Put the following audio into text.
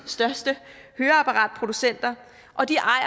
største høreapparatproducenter og de ejer